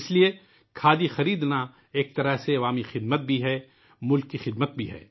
لہٰذا ، کھادی خریدنا ایک طرح سے عوامی خدمت ہے ، یہ قوم کی خدمت بھی ہے